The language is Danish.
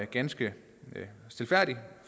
ganske stilfærdigt